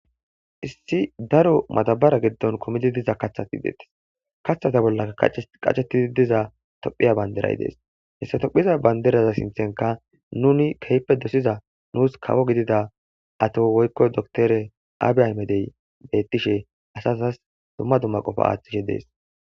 Issi daro matabara geddon komidi diza kathati deettes kaththata bollaa qachetidi diza tophiya banderay dees hessatophiza banderaza sinthenka nuni khppe dosiza nuus kawo gidida ato woykko dotore aabiay medey bettishe asasas dumma dumma qofa aaththishe dees